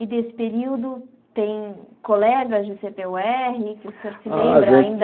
E desse período tem colegas de cê pê ú érre que o senhor se lembra ainda? Ah a gente